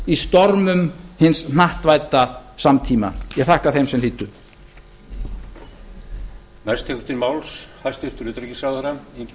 í stormum hins hnattvædda samtíma ég þakka þeim sem hlýddu ég þakka þeim sem hlýddu jón kláraði sjs